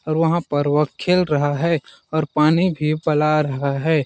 और वहाँ पर वह खेल रहा है और पानी भी पला रहा है।